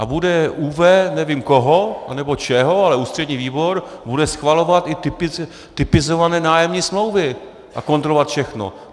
A bude ÚV nevím koho nebo čeho, ale ústřední výbor bude schvalovat i typizované nájemní smlouvy a kontrolovat všechno.